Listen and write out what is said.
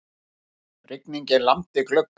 Rigningin lamdi gluggann.